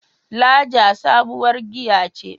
Lager sabuwar giya ce.